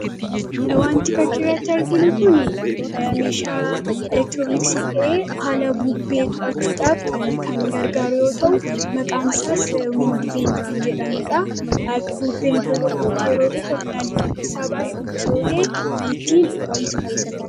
Wanti fakkiirratti arginu kun meeshaa elektirooniksii ta'e haala bubbee to’achuudhaaf kan gargaara yoo ta'u maqaan isaas windiveenii kan jedhamudha. bubbeen iddoo tokkotti yeroo dhufu kan haalli-qilleessaa baay'ee bubbisoota kan ittiin to'achuudhaaf dalaga.